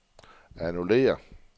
annullér